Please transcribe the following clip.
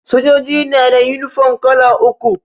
Sojoji na da yunifom kala uku